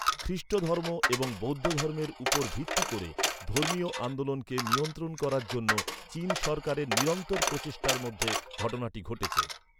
খ্রীষ্টধর্ম এবং বৌদ্ধধর্মের উপর ভিত্তি করে ধর্মীয় আন্দোলনকে নিয়ন্ত্রণ করার জন্য চীন সরকারের নিরন্তর প্রচেষ্টার মধ্যে ঘটনাটি ঘটেছে।